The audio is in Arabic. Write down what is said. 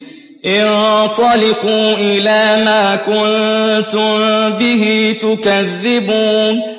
انطَلِقُوا إِلَىٰ مَا كُنتُم بِهِ تُكَذِّبُونَ